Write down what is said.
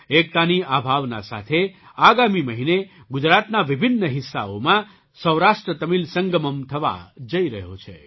એકતાની આ ભાવના સાથે આગામી મહિને ગુજરાતના વિભિન્ન હિસ્સાઓમાં સૌરાષ્ટ્રતમિલ સંગમમ્ થવા જઈ રહ્યો છે